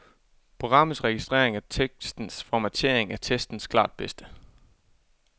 Programmets registrering af tekstens formatering er testens klart bedste.